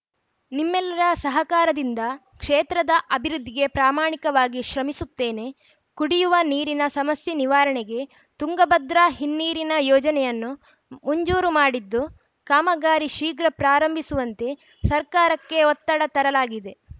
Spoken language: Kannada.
ನಿಮ್ಮೆಲ್ಲರ ಸಹಕಾರದಿಂದ ಕ್ಷೇತ್ರದ ಅಭಿವೃದ್ಧಿಗೆ ಪ್ರಮಾಣಿಕವಾಗಿ ಶ್ರಮಿಸುತ್ತೇನೆ ಕುಡಿಯುವ ನೀರಿನ ಸಮಸ್ಯೆ ನಿವಾರಣೆಗೆ ತುಂಗಭದ್ರಾ ಹಿನ್ನೀರಿನ ಯೋಜನೆಯನ್ನು ಮುಂಜೂರು ಮಾಡಿದ್ದು ಕಾಮಗಾರಿ ಶೀಘ್ರ ಪ್ರಾರಂಭಿಸುವಂತೆ ಸರ್ಕಾರಕ್ಕೆ ಒತ್ತಡ ತರಲಾಗಿದೆ